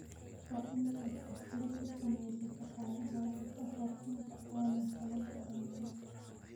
Waa in aad xaflad u samayso shaqaalahaaga ka hor inta aanu sanadkan dhamaanin.